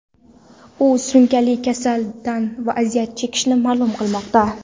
U surunkali kasaldan aziyat chekishi ma’lum qilinmoqda.